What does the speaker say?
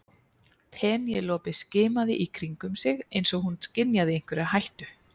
Penélope skimaði í kringum sig eins og hún skynjaði einhverja hættu.